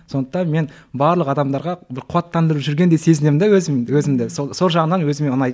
сондықтан мен барлық адамдарға бір қуаттандырып жүргендей сезінемін де өзімді сол жағынын өзіме ұнайды